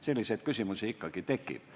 Selliseid küsimusi ikkagi tekib.